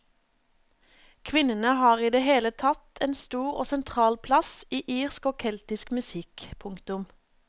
Kvinnene har i det hele tatt en stor og sentral plass i irsk og keltisk musikk. punktum